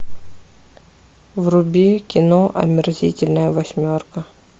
вруби кино омерзительная восьмерка